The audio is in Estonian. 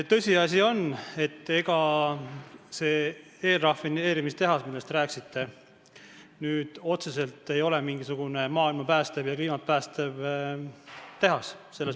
Tõsiasi on ka, et ega see eelrafineerimistehas, millest te rääkisite, ei ole otseselt mingisugune maailma ja kliimat päästev tehas.